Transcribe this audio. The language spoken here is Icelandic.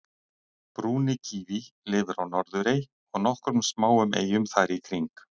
brúni kíví lifir á norðurey og nokkrum smáum eyjum þar í kring